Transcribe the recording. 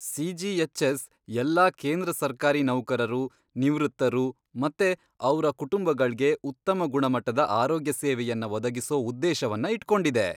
CGHS. ಎಲ್ಲಾ ಕೇಂದ್ರ ಸರ್ಕಾರಿ ನೌಕರರು, ನಿವೃತ್ತರು ಮತ್ತೆ ಅವ್ರ ಕುಟುಂಬಗಳ್ಗೆ ಉತ್ತಮ ಗುಣಮಟ್ಟದ ಆರೋಗ್ಯ ಸೇವೆಯನ್ನ ಒದಗಿಸೋ ಉದ್ದೇಶವನ್ನ ಇಟ್ಕೊಂಡಿದೆ.